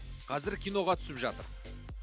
қазір киноға түсіп жатыр